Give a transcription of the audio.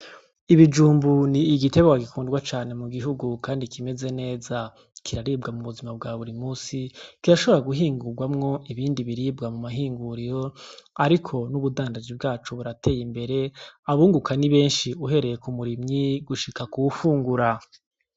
Ibijumbu ni igitegwa gikundwa cane mugihugu kandi kimeze neza kiraribwa mubuzima bwa buri musi kirashobora guhingugwamwo ibindi biribwa mumahinguriro ariko n' ubudandaji bwaco burateye imbere abunguka ni benshi uhereye kumurimyi gushika kuwufungura.